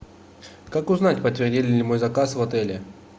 как узнать подтвердили ли мой заказ в отеле